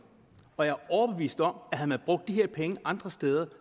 og jeg er overbevist om at havde man brugt de her penge andre steder